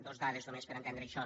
dos dades només per entendre això